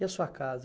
E a sua casa?